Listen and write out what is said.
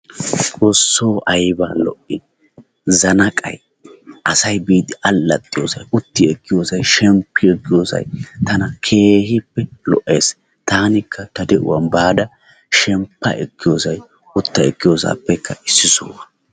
Xoosso ayba lo"i! Zannaqqay asay biidi allaxxiyossay utti ekkiyossay shemppi ekkiyosay tana keehippe lo'ees. Taanikka ta de'uwan baada shemppa ekkiyosay utta ekkiyosaappekka issi sohuwaa.